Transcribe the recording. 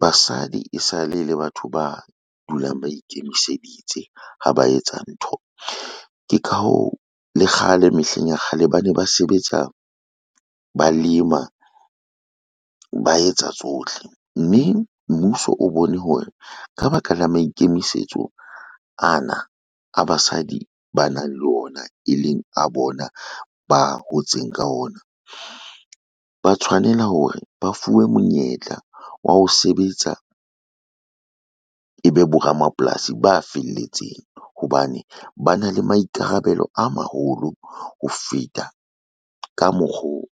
Basadi e sale e le batho ba dulang ba ikemiseditse ha ba etsa ntho. Ke ka hoo le kgale mehleng ya kgale, ba ne ba sebetsa ba lema ba etsa tsohle, mme mmuso o bone hore ka ba ka la maikemisetso ana a basadi ba nang le ona, e leng a bona ba hotseng ka ona, ba tshwanela hore ba fuwe monyetla wa ho sebetsa, e be boramapolasi ba felletseng. Hobane ba na le maikarabelo a maholo ho feta ka mokgoo